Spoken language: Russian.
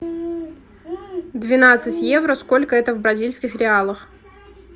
двенадцать евро сколько это в бразильских реалах